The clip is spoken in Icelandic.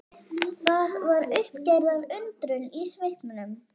Það var uppgerðar undrun í svipnum.